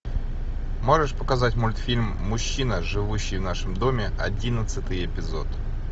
можешь показать мультфильм мужчина живущий в нашем доме одиннадцатый эпизод